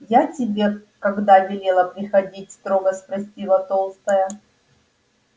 я тебе когда велела приходить строго спросила толстая